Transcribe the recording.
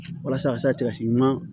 Walasa a ka se ka tila si ɲuman